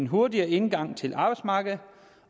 hurtigere indgang til arbejdsmarkedet